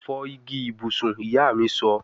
Fọ igi ibusun, iya mi sọ